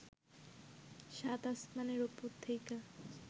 সাত আসমানের ওপর থেইকা